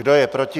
Kdo je proti?